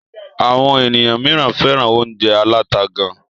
Àwọn ènìyàn míràn fẹ́ràn óúnjẹ aláta gán.